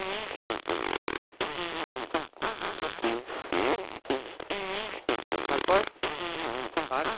তারপর আর।